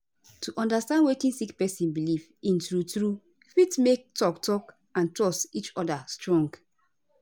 to understand wetin sick person belief in true true fit make talk talk and trust each oda strong